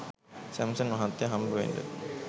Samson මහත්තය හම්බ වෙන්ඩ